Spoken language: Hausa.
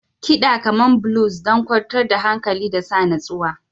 Kiɗa kamar blues don kwantar da hankali da sa natsuwa.